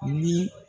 Ni